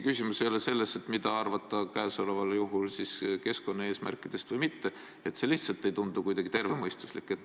Küsimus ei ole isegi selles, mida arvata käesoleval juhul keskkonnaeesmärkidest, see lihtsalt ei tundu kuidagi tervemõistuslik.